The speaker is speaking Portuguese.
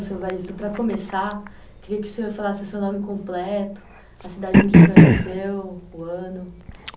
Então, senhor, para começar, queria que o senhor falasse o seu nome completo...tosse) cidade onde você nasceu, o ano.